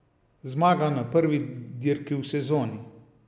Zmaga na prvi dirki v sezoni!